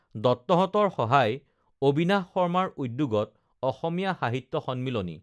দত্তহতঁৰ সহায় অবিনাশ শৰ্মাৰ উদ্যোগত অসমীয়া সাহিত্য সন্মিলনী